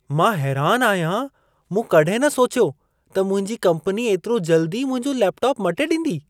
मां हैरानु आहियां! मूं कॾहिं न सोचियो त मुंहिंजी कंपनी एतिरो जल्दी मुंहिंजो लेपटॉप मटे ॾींदी।